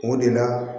O de la